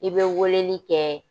I bɛ weleli kɛ.